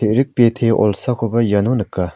e·rik bete olsakoba iano nika.